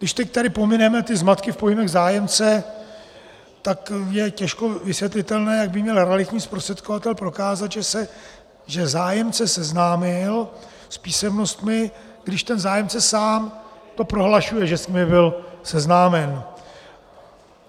Když teď tady pomineme ty zmatky v pojmech zájemce, tak je těžko vysvětlitelné, jak by měl realitní zprostředkovatel prokázat, že zájemce seznámil s písemnostmi, když ten zájemce sám to prohlašuje, že s nimi byl seznámen.